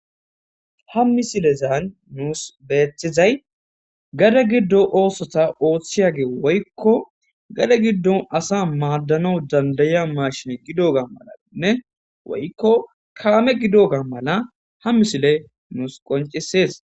Ha misilezaan nuus beeththizay gade giddo oosota oothchiyage woykko gade giddo asa maaddano dandayiya maashin gidoga malainne woykko kalame gido ga mala ha misile nuus qoncisees.